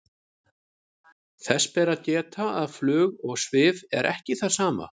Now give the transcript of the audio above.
þess ber að geta að flug og svif er ekki það sama